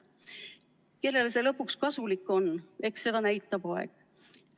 Kellele see lõpuks kasulik on, eks seda näitab aeg.